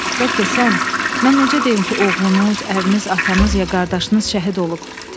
Bəlkə sən, mən necə deyim ki, oğlunuz, əriniz, atanız ya qardaşınız şəhid olub.